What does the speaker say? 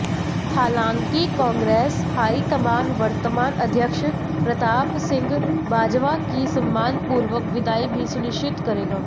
हालांकि कांग्रेस हाईकमान वर्तमान अध्यक्ष प्रताप सिंह बाजवा की सम्मानपूर्वक विदाई भी सुनिश्चित करेगा